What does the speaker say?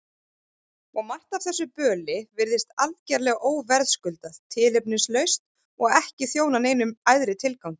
Og margt af þessu böli virðist algerlega óverðskuldað, tilefnislaust og ekki þjóna neinum æðri tilgangi.